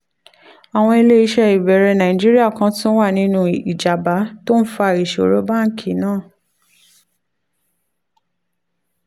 àwọn ilé iṣẹ́ ìbẹ̀rẹ̀ nàìjíríà kan tún wà nínú ìjábá tó ń fa ìṣòro báńkì náà